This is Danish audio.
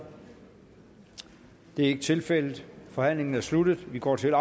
det er ikke tilfældet forhandlingen er sluttet og vi går til